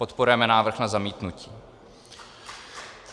Podporujeme návrh na zamítnutí.